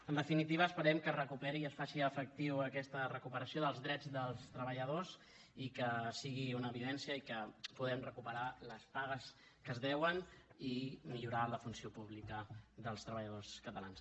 en definitiva esperem que es recuperi i es faci efectiva aquesta recuperació dels drets dels treballadors i que sigui una evidència i que puguem recuperar les pagues que es deuen i millorar la funció pública dels treballadors catalans